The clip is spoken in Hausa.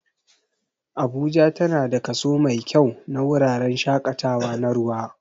Abuja tana da kaso mai kyau na wuraren shaƙatawa na ruwa